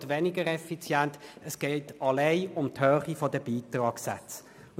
Es geht einzig um die Höhe der Beitragssätze.